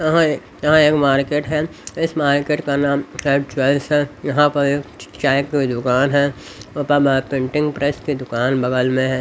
यहां यहां एक मार्केट है इस मार्केट का नाम एड चॉइस है यहां पर एक चाय की दुकान है ऊपर पेंटिंग प्रेस की दुकान बगल में--